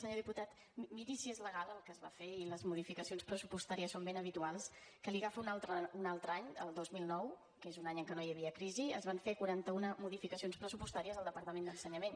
senyor diputat miri si és legal el que es va fer i les modificacions pressupostàries són ben habituals que li agafo un altre any el dos mil nou que és un any en què no hi havia crisi es van fer quaranta una modificacions pressupostàries al departament d’ensenyament